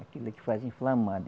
Aquilo que faz inflamar.